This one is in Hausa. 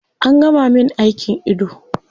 An gama min aikin ido